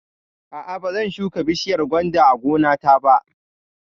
A'a, ba zan shuka bishiyar gwanda a gona ta ba